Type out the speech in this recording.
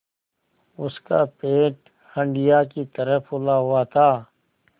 उसका पेट हंडिया की तरह फूला हुआ था